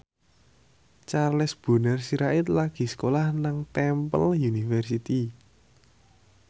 Charles Bonar Sirait lagi sekolah nang Temple University